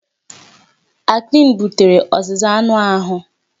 Acne butere ọzịza anụ ahụ.